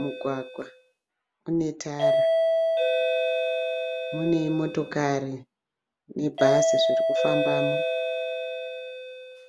Mugwagwa une tara. Mune motokari nebhazi dzirikufambamo.